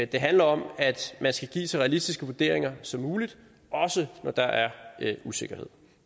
det handler om at man skal give så realistiske vurderinger som muligt også når der er usikkerhed